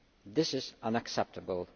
This is unacceptable.